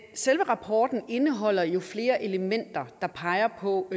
selve rapporten indeholder jo flere elementer der peger på